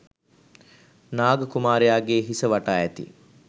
නාග කුමාරයාගේ හිස වටා ඇති